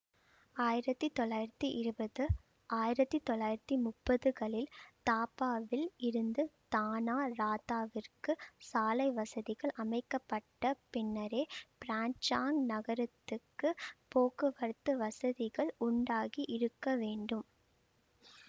ஆயிரத்தி தொள்ளாயிரத்தி இருபது ஆயிரத்தி தொள்ளாயிரத்தி முப்பதுகளில் தாப்பாவில் இருந்து தானா ராத்தாவிற்குச் சாலை வசதிகள் அமைக்க பட்ட பின்னரே பிரிஞ்சாங் நகரத்திற்கு போக்குவரத்து வசதிகள் உண்டாகி இருக்க வேண்டும்